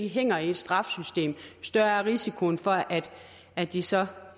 hænger i et straffesystem jo større er risikoen for at de så